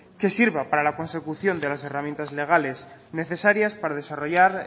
que sirva para la consecución de las herramientas legales necesarias para desarrollar